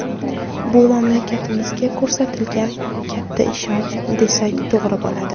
Bu mamlakatimizga ko‘rsatilgan katta ishonch, desak, to‘g‘ri bo‘ladi.